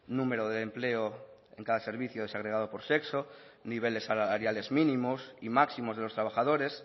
número de empleo en cada servicio desagregado por sexo niveles salariales mínimos y máximos de los trabajadores